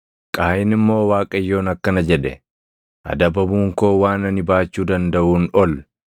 Qaayin immoo Waaqayyoon akkana jedhe; “Adabamuun koo waan ani baachuu dandaʼuun ol.